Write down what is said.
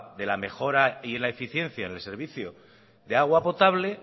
de la mejora y la eficiencia en el servicio de agua potable